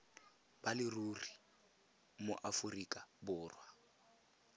ba leruri mo aforika borwa